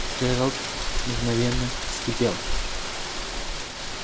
джералд мгновенно вскипел